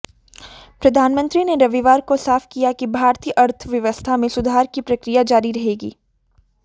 प्रधानमंत्री ने रविवार को साफ किया कि भारतीय अर्थव्यवस्था में सुधार की प्रक्रिया जारी रहेगी